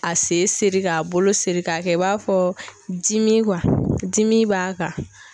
A se seri k'a bolo siri ka kɛ i b'a fɔ dimi dimi b'a kan.